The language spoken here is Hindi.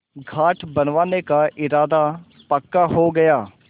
घाट बनवाने का इरादा पक्का हो गया